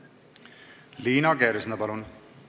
Liina Kersna, palun!